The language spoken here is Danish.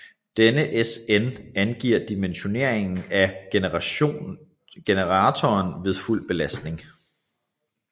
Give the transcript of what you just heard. Denne SN angiver dimensioneringen af generatoren ved fuld belastning